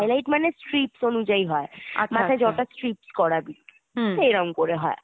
highlight মানে হচ্ছে treats অনুযায়ী হয়। মাথায় treats করাবি তো এইরম করে হয়।